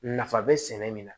Nafa bɛ sɛnɛ min na